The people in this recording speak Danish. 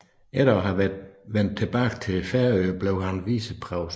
Efter at være vendt tilbage til Færøerne blev han viceprovst